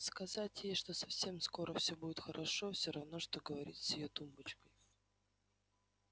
сказать ей что совсем скоро все будет хорошо все равно что говорить с её тумбочкой